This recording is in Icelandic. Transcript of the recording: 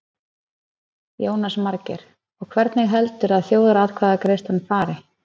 Jónas Margeir: Og hvernig heldurðu að þjóðaratkvæðagreiðslan fari?